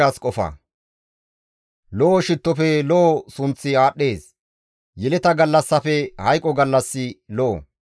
Lo7o shittofe lo7o sunththi aadhdhees; yeleta gallassafe hayqo gallassi lo7o.